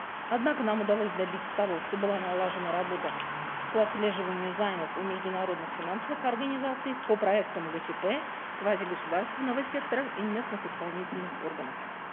однако нам удалось добиться того что была налажена работа по отслеживанию займов у международных финансовых организаций по проектам гчп квазигосударственного сектора и местных исполнительных органов